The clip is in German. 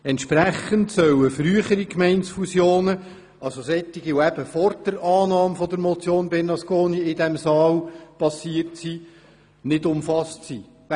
Entsprechend sollen frühere Gemeindefusionen, das heisst solche, die vor der Annahme der Motion Bernasconi stattfanden, nicht eingeschlossen sein.